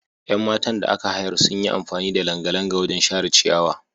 Yan matan da aka hayar sun yi amfani da langalanga wajen share ciyawa.